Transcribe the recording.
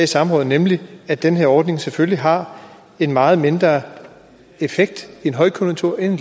samrådet nemlig at den her ordning selvfølgelig har en meget mindre effekt ved højkonjunktur end